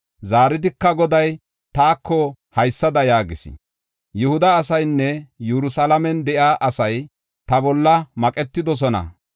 Zaaridika Goday taako haysada yaagis: “Yihuda asaynne Yerusalaamen de7iya asay ta bolla maqetidosona.